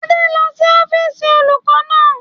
Adé lọ sí ọ́fíìsì olùkọ́ náà